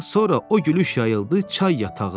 sonra o gülüş yayıldı çay yatağına.